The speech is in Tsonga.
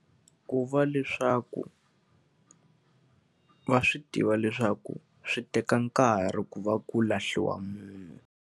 Ku va leswaku va swi tiva leswaku swi teka nkarhi ku va ku lahliwa munhu.